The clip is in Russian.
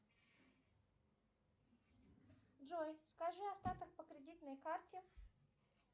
джой скажи остаток по кредитной карте